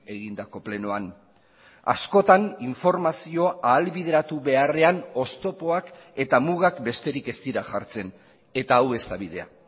egindako plenoan askotan informazioa ahalbideratu beharrean oztopoak eta mugak besterik ez dira jartzen eta hau ez da bidea